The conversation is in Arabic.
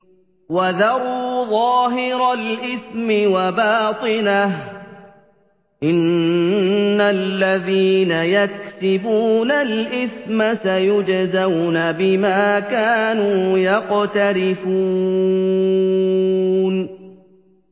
وَذَرُوا ظَاهِرَ الْإِثْمِ وَبَاطِنَهُ ۚ إِنَّ الَّذِينَ يَكْسِبُونَ الْإِثْمَ سَيُجْزَوْنَ بِمَا كَانُوا يَقْتَرِفُونَ